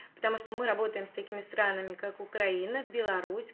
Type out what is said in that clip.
потому что мы работаем с такими странами как украина беларусь